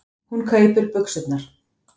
Hún kaupir buxurnar.